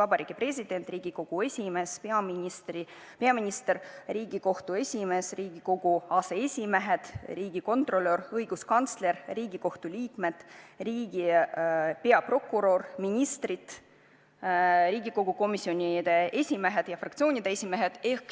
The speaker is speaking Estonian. Vabariigi President, Riigikogu esimees, peaminister, Riigikohtu esimees, Riigikogu aseesimehed, riigikontrolör, õiguskantsler, Riigikohtu liikmed, riigi peaprokurör, ministrid, Riigikogu komisjonide esimehed ja fraktsioonide esimehed.